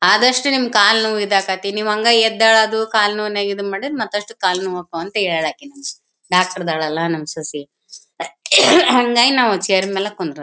ಆದಷ್ಟು ನಿಮ್ ಕಾಲ್ ನೋವು ಇದಾಗತ್ತಿ ನೀವು ಹಂಗ ಎದ್ದೋಳೋದು ಕಾಲ್ ನೋವು ನಗಿದು ಮಾಡಿದ್ರೆ ಮತ್ತ್ ಅಷ್ಟು ಕಾಲು ನೋವು ಆಗ್ತವೆ ಅಂತ ಹೇಳೋಕ್ಕೆ ಡಾಕ್ಟರ್ ಇದ್ದಳಲ್ಲ ನಮ್ ಸೊಸಿ ಹಾಂಗಾಗಿ ನಾವು ಛೇರ್ ಮೇಲೆ ಕೂರೋದು .